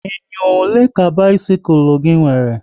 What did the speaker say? Enyo ole ka bisikul gị nwere?